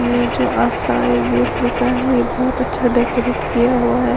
ये जो आस्था आई_वी_एफ लिखा है ये बहुत अच्छा डेकोरेट किया हुआ है।